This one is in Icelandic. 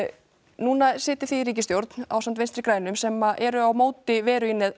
núna sitjið þið í ríkisstjórn ásamt Vinstri grænum sem að eru á móti veru í